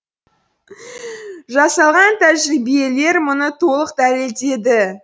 жасалған тәжірибелер мұны толық дәлелдеді